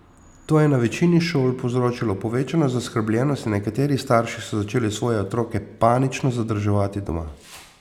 To je na večini šol povzročilo povečano zaskrbljenost in nekateri starši so začeli svoje otroke panično zadrževati doma.